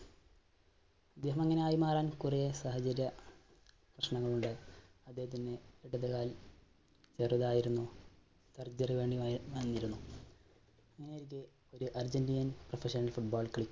ഇദ്ദേഹം ഇങ്ങനെയായി മാറാൻ കുറേ സാഹചര്യ പ്രശ്നങ്ങൾ ഉണ്ട്, അദ്ദേഹത്തിന്റെ ഇടതുകാൽ ചെറുതായിരുന്നു. surgery തന്നെ അങ്ങനെയിരിക്കെ ഒരു Argentinian professional football കളി